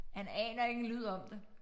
Han aner ikke en lyd om det